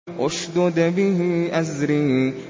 اشْدُدْ بِهِ أَزْرِي